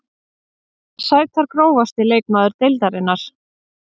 Margar sætar Grófasti leikmaður deildarinnar?